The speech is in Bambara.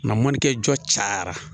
Nka mɔnikɛ jɔ cayara